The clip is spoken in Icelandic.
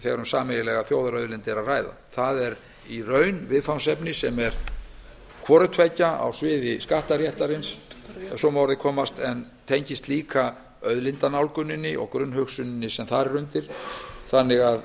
þegar um sameiginlega þjóðarauðlind er að ræða það er í raun viðfangsefni sem er hvort tveggja á sviði skattaréttarins ef svo má að orði komast en tengist líka auðlindanálguninni og grunnhugsuninni sem þar er undir þannig